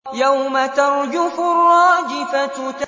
يَوْمَ تَرْجُفُ الرَّاجِفَةُ